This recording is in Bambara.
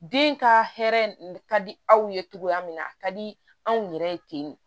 Den ka hɛrɛ ka di aw ye togoya min na a ka di anw yɛrɛ ye ten